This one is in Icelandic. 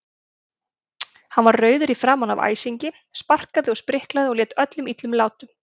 Hann var rauður í framan af æsingi, sparkaði og spriklaði og lét öllum illum látum.